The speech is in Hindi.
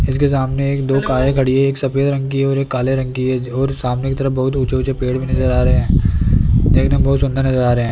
इसके सामने एक दो कारें खड़ी है एक सफेद रंग की और काले रंग की है और सामने की तरफ बहुत ऊंचे-ऊंचे पेड़ में नजर आ रहे हैं देखने में बहुत सुंदर नजर आ रहे हैं।